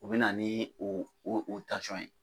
O bɛ na ni o o o o ye.